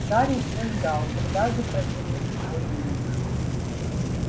гарри все ждал когда же прогремит его имя